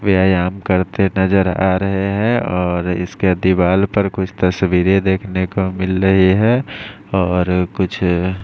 व्यायाम करते नजर आ रहे है और इसके दीवाल पर कुछ तस्वीरे देखने को मिल रही है और कुछ --